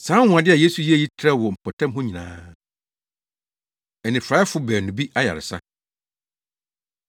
Saa anwonwade a Yesu yɛe yi trɛw wɔ mpɔtam hɔ nyinaa. Anifuraefo Baanu Bi Ayaresa